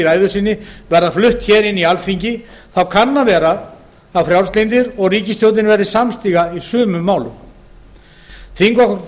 ræðu sinni verða flutt inn í alþingi kann að vera að frjálslyndir og ríkisstjórnin verði samstiga í sumum málum þingflokkur